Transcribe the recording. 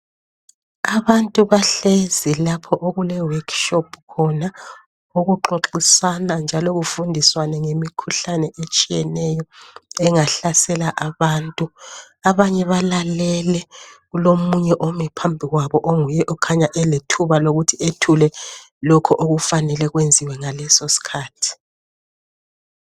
Abantu bahlezi lapho okule workshop khona, okuxoxisana njalo kufundiswane ngemikhuhlane etshiyeneyo engahlasela abantu. Abanye balalele, kulomunye ome phambi kwabo onguye okhanya elethuba lokuthi ethule lokho okufanele kwenziwe ngaleso sikhathi.